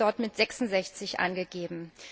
Sie wir dort mit sechsundsechzig angegeben.